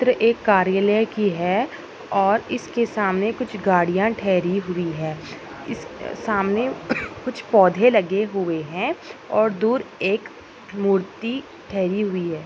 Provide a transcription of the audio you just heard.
चित्र एक कार्यालय की है और इसके सामने कुछ गाड़िया ठेहरी हुई है इस सामने कुछ पौधे लगे हुए है और दूर एक मूर्ति ठेहरी हुई है।